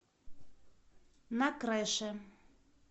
на крыше